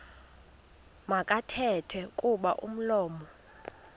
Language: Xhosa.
makathethe kuba umlomo